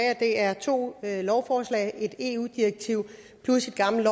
at det er to lovforslag et eu direktiv plus et gammelt